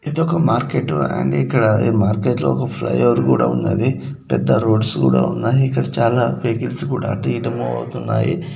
ఇది ఒక market and ఇక్కడ ఈ మార్కెట్ లో ఒక ఫ్లై ఓవర్ కూడా ఉన్నది పెద్ద రోడ్స్ కూడా ఉన్నాయి ఇక్కడ చాలా వెహికల్స్ కూడా అటు ఇటు మూవ్ అవుతున్నాయి.